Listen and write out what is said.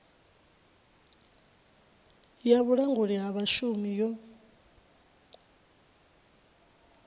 ya vhulanguli ha vhashumi yo